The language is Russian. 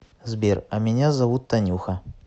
сбер а меня зовут танюха